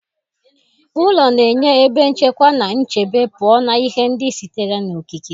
Ụlọ na-enye ebe nchekwa na nchebe pụọ na ihe ndị sitere n'okike